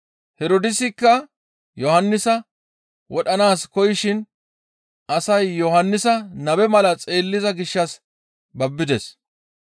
Herdoosikka Yohannisa wodhanaas koyishin asay Yohannisa nabe mala xeelliza gishshas babbides.